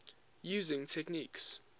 using techniques